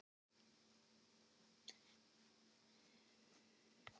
Lánaðu mér frekar fyrir kaffi.